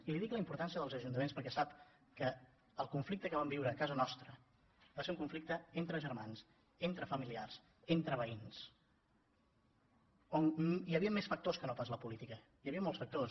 i li dic la importància dels ajuntaments perquè sap que el conflicte que vam viure a casa nostra va ser un conflicte entre germans entre familiars entre veïns on hi havien més factors que no pas la política hi havien molts factors